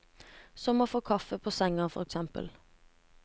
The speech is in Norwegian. Som å få kaffe på sengen, for eksempel.